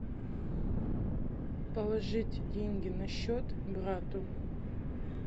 положить деньги на счет брату